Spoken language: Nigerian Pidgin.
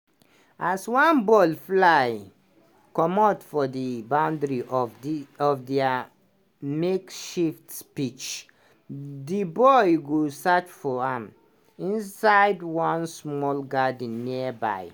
as one ball fly commot for di boundary of dia makeshift pitch di boys go search for am inside one small garden nearby.